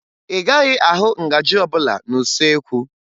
Ị gaghị ahụ ngaji ọbụla n'usuekwu